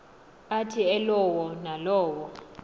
athi elowo nalowo